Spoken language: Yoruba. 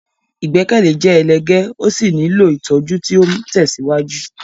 Ìgbẹ́kẹ̀lé jẹ́ ẹlẹ́gẹ́ ó sì nílò ìtọ́jú tí ó ń tẹ̀síwájú.